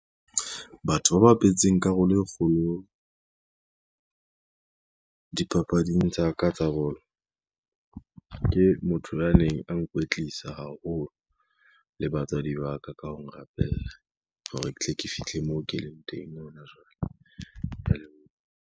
Batho ba bapetseng karolo e kgolo dipapading tsa ka tsa bolo, ke motho ya neng a nkwetlisa haholo le batswadi ba ka ka ho ngrapella hore ke tle ke fihle mo ke leng teng hona jwale, kea leboha.